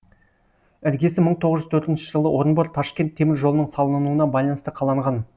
іргесі мың тоғыз жүз төртінші жылы орынбор ташкент темір жолының салынуына байланысты қаланған